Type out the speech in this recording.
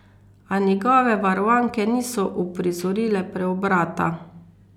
A njegove varovanke niso uprizorile preobrata.